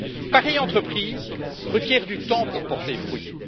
Pareille entreprise requiert du temps pour porter ses fruits.